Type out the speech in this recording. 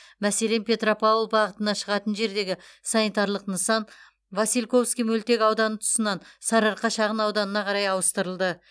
мәселен петропавл бағытына шығатын жердегі санитарлық нысан васильковский мөлтек ауданы тұсынан сарыарқа шағын ауданына қарай ауыстырылды